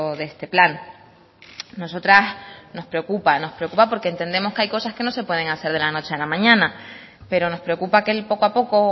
de este plan a nosotras nos preocupa porque entendemos que hay cosas que no se pueden hacer de la noche a la mañana pero nos preocupa que el poco a poco o